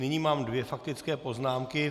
Nyní mám dvě faktické poznámky.